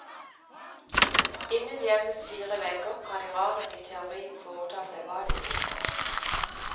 Innen hjemmets fire vegger kan iranerne i teorien foreta seg hva de vil.